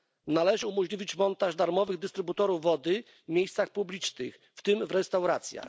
Należy umożliwić montaż darmowych dystrybutorów wody w miejscach publicznych, w tym w restauracjach.